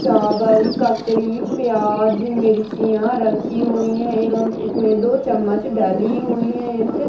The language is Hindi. चावल ककड़ी प्याज़ मिर्चिया रखी हुई हैं एवं इसमें दो चम्मच डली हुई हैं इनसे --